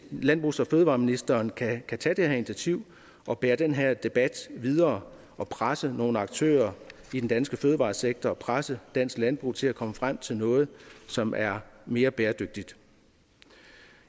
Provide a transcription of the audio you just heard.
landbrugs og fødevareministeren kan kan tage det her initiativ og bære den her debat videre og presse nogle aktører i den danske fødevaresektor presse dansk landbrug til at komme frem til noget som er mere bæredygtigt